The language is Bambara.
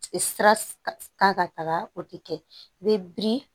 Sira kan ka taga o tɛ kɛ i bɛ biri